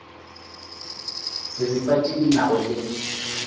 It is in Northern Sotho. diripa tše di nago le